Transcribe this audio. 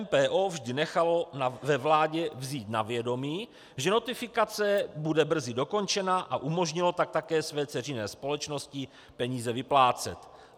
MPO vždy nechalo ve vládě vzít na vědomí, že notifikace bude brzy dokončena, a umožnilo tak také své dceřiné společnosti peníze vyplácet.